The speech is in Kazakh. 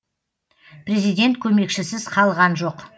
президент көмекшісіз қалған жоқ